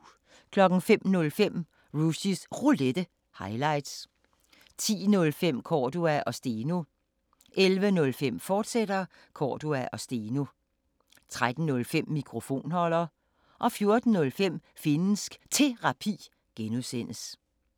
05:05: Rushys Roulette – highlights 10:05: Cordua & Steno 11:05: Cordua & Steno, fortsat 13:05: Mikrofonholder 14:05: Finnsk Terapi (G)